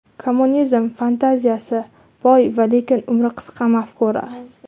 Kommunizm – fantaziyasi boy va lekin umri qisqa mafkura.